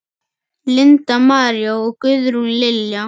Linda María og Guðrún Lilja.